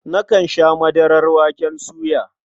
Nakan sha madarar waken soya.